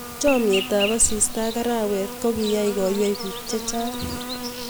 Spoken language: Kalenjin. Chamnyet ap asista ak arawet ko kiyai koiywei piik chechang